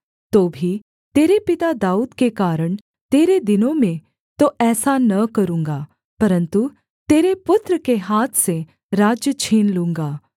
तो भी तेरे पिता दाऊद के कारण तेरे दिनों में तो ऐसा न करूँगा परन्तु तेरे पुत्र के हाथ से राज्य छीन लूँगा